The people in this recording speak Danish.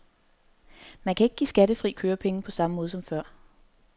Man kan ikke give skattefri kørepenge på samme måde som før.